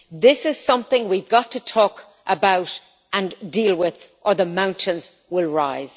This is something we've got to talk about and deal with, or the mountains will rise.